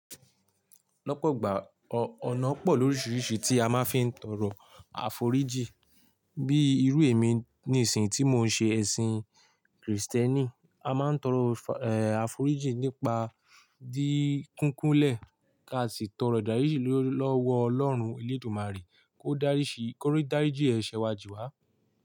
Lọ́pọ̀ gbá ọ̀nà pọ̀ lóríṣiríṣi tí a máa fi ń tọrọ àforíjì. Bií irú emi nísìn tí mo ń ṣe ẹ̀sìn Krìstẹ́ẹ́nì, a máa ń tọrọ fa ẹ àforíjì nípa dín kúnkún lẹ̀ ká sì tọrọ ìdáríjì lori lọ́wọ́ Ọlọ́run, eledumàrè kó dariṣi ko ri daríjì ẹ̀ṣẹ̀ wa jíwá.